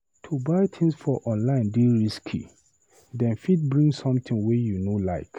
To buy tins for online dey risky, dem fit bring sometin wey you no like.